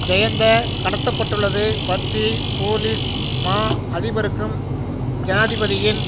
ஜயந்த கடத்தப்பட்டுள்ளது பற்றி போலிஸ் மா அதிபருக்கும் ஜனாதிபதியின்